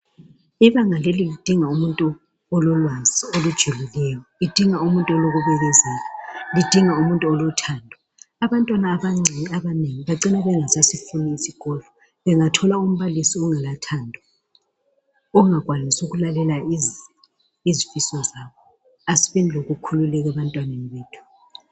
Ibanga leli lidinga umuntu ololwazi olujulileyo. Ludinga umuntu olokubekezela, ludinga umuntu olothando. Abantwana abancane abanengi bacina bengasasifuni isikolo bengathola umbalisi ongelathando ongakwanisi ukulalela izifiso zabo. Asibeni lokukhululeka ebantwaneni bethu.